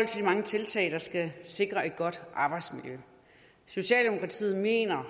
af de mange tiltag der skal sikre et godt arbejdsmiljø socialdemokratiet mener